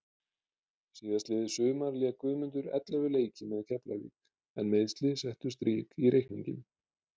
Síðastliðið sumar lék Guðmundur ellefu leiki með Keflavík en meiðsli settu strik í reikninginn.